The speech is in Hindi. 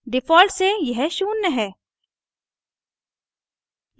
default से यह शून्य है